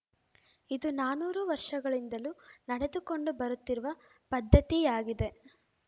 ಇದು ನೂರಾರು ವರ್ಷಗಳಿಂದಲೂ ನಡೆದುಕೊಂಡು ಬರುತ್ತಿರುವ ಪದ್ಧತಿಯಾಗಿದೆ